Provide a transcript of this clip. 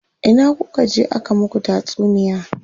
Ina kuka je aka muku tatsuniya?